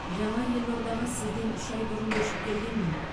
жаңа елордаға сізден үш айын бұрын көшіп келгенмін